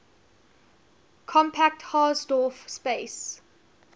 compact hausdorff space